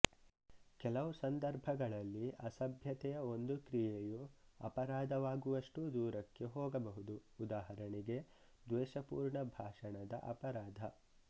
ಕೆಲವು ಸಂದರ್ಭಗಳಲ್ಲಿ ಅಸಭ್ಯತೆಯ ಒಂದು ಕ್ರಿಯೆಯು ಅಪರಾಧವಾಗುವಷ್ಟು ದೂರಕ್ಕೆ ಹೋಗಬಹುದು ಉದಾಹರಣೆಗೆ ದ್ವೇಷಪೂರ್ಣ ಭಾಷಣದ ಅಪರಾಧ